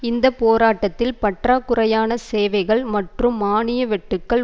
இந்த போராட்டத்தில் பற்றாக்குறையான சேவைகள் மற்றும் மாணிய வெட்டுக்கள்